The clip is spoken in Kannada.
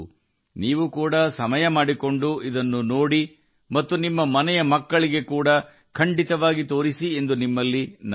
ಅದನ್ನು ನೀವೂ ಕೂಡಾ ವೀಕ್ಷಿಸಲು ಮತ್ತು ಮನೆಯ ಮಕ್ಕಳಿಗೆ ತೋರಿಸಲು ಸಮಯವನ್ನು ಮೀಸಲಿಡಲು ನಾನು ನಿಮ್ಮನ್ನು ವಿನಂತಿಸುತ್ತೇನೆ